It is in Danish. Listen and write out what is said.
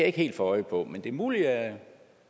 ikke helt få øje på men det er muligt at